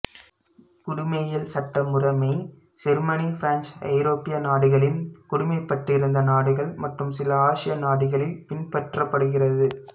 குடிமையியல் சட்ட முறைமை Germany France ஐரோப்பிய நாடுகளின் குடிமைப்பட்டிருந்த நாடுகள் மற்றும் சில ஆசிய நாடுகளில் பின்பற்றப்படுகிறது